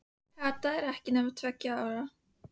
Kata var ekki nema tveggja ára.